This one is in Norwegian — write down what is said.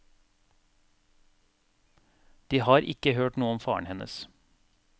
De har ikke hørt noe om faren hennes.